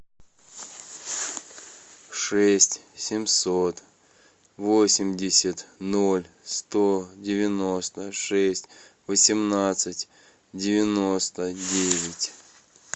шесть семьсот восемьдесят ноль сто девяносто шесть восемнадцать девяносто девять